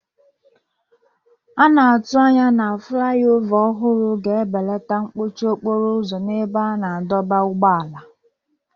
A na-atụ anya na fulaiova ọhụrụ ga-ebelata mkpọchi okporo ụzọ n'ebe a na-adọba ụgbọala.